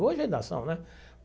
Hoje ainda são, né?